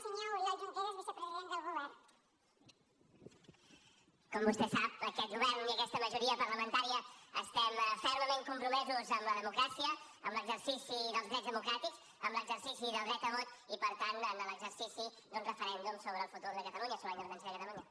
com vostè sap aquest govern i aquesta majoria parlamentària estem fermament compromesos amb la democràcia amb l’exercici dels drets democràtics amb l’exercici del dret a vot i per tant amb l’exercici d’un referèndum sobre el futur de catalunya sobre la independència de catalunya